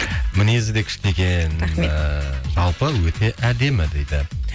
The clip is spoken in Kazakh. мінезі де күшті екен рахмет ы жалпы өте әдемі дейді